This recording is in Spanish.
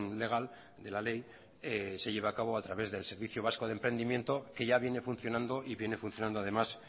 legal de la ley se lleve a cabo a través del servicio vasco de emprendimiento que ya viene funcionando y viene funcionando además